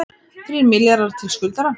Þrír milljarðar til skuldara